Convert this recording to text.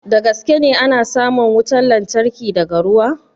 Da gaske ne ana samun wutan lantarki daga ruwa?